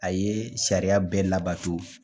A ye sariya bɛɛ labato